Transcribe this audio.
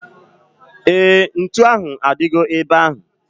Éè, ntụ ahu adigo ebe ahu